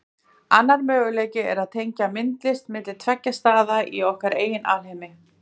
Annar möguleiki er að tenging myndist milli tveggja staða í okkar eigin alheimi.